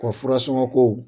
O furasɔngɔko